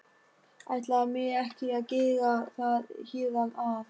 Ætla mér ekki að gera það héðan af.